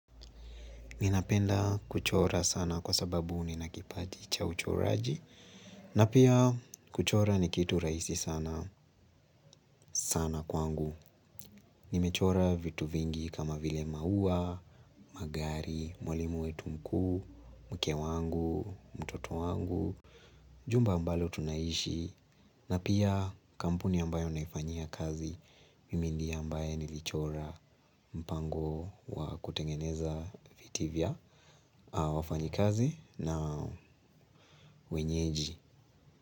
Ninapenda kuchora sana kwa sababu ninakipaji cha uchoraji na pia kuchora ni kitu raisi sana sana kwangu. Nimechora vitu vingi kama vile maua, magari, mwalimu wetu mkuu, mke wangu, mtoto wangu, jumba ambalo tunaishi na pia kampuni ambayo naifanyia kazi. Mimi ndiye ambaye nilichora mpango wa kutengeneza viti vya wafanyikazi na wenyeji.